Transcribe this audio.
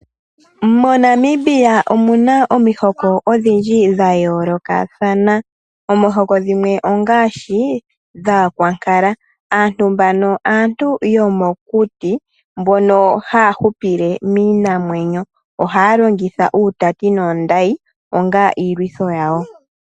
MoNamibia omu na omihoko odhindji dha yoolokathana omihoko dhimwe ngaashi aayelele aantu yomokuti mbono haya hupile miinanwenyo, ohaya longitha uutati noondayi onga iilwitho yawo.